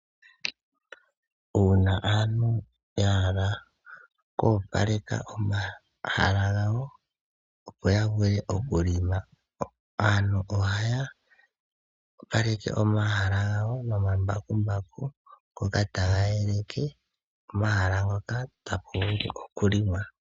Uuna aantu ya hala oku opaleka omahala gawo opo yavule okulonga, aantu oha ya opaleka omahala gawo nomambakumbaku ngoka taga yeleke omahala ngoka gapumbwa okulonga.